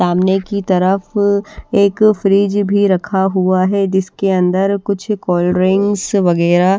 सामने की तरफ एक फ्रिज भी रखा हुआ है जिसके अंदर कुछ कोल्ड ड्रिंक्स वगैरह--